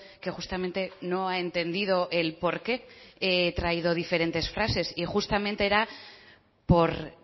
que justamente no ha entendido el por qué he traído diferentes frases y justamente era porque